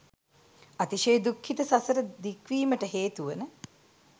අතිශය දුක්ඛිත සසර දික්වීමට හේතුවන